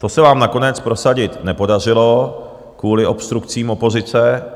To se vám nakonec prosadit nepodařilo kvůli obstrukcím opozice.